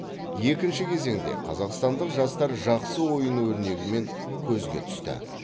екінші кезеңде қазақстандық жастар жақсы ойын өрнегімен көзге түсті